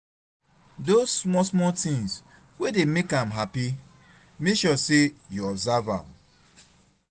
dose smal smal smal tins wey dey mek am hapi mek sure sey yu observe am